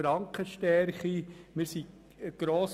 Anwesend sind 149 Mitglieder.